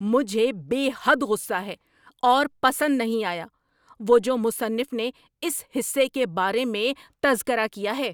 مجھے بے حد غصہ ہے اور پسند نہیں آیا وہ جو مصنف نے اس حصے کے بارے میں تذکرہ کیا ہے۔